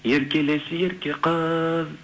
еркелеші ерке қыз